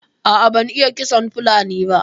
A'a ban iya ƙitson fulani ba.